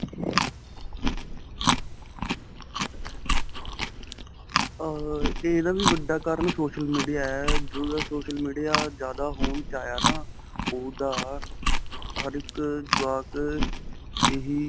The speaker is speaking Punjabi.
ਅਅ ਇਹਦਾ ਵੀ ਵੱਡਾ ਕਾਰਣ social media ਹੈ, ਜਦੋ ਦਾ social media ਜਿਆਦਾ ਹੋਂਦ 'ਚ ਆਇਆ ਨਾ ਓਹਦਾ ਹਰ ਇੱਕ ਜਵਾਕ ਇਹੀ.